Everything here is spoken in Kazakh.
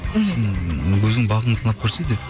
сен өзіңнің бағыңды сынап көрсей деді